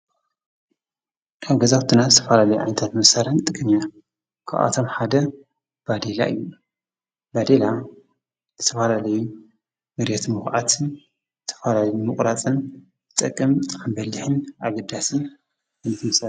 ካብ ገዛዊትና ዘተፋላለይ ዓይነታት መሳረሒታት ኒጥቀም እና ካባኣቶም ሓደ ባዲላ እዩ፡፡ ባዲላ ዘተፋላለዩ መርየት ንምካዓት ዝተፋላለዩ ምቁራፂነ ዝጠቅምብጣዕሚ በሊሕን ኣገዳስን እዩ፡፡